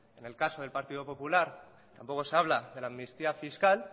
en el caso del partido popular tampoco se habla de la amnistía fiscal